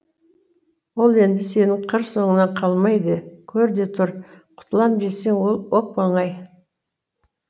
бұд енді сенің қыр соңыңнан қалмайды көр де тұр құтылам десең ол оп оңай